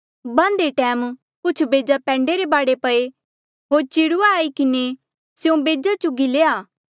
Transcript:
बाहन्दे टैम कुछ बेजा पैंडे रे बाढे पये होर चिड़ुऐ आई किन्हें स्यों बेजा चुगी लये